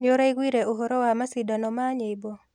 Nĩũraiguire ũhoro wa macindano ma nyĩmbo?